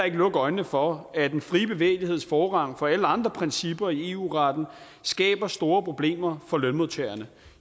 ikke lukke øjnene for at den frie bevægeligheds forrang for alle andre principper i eu retten skaber store problemer for lønmodtagerne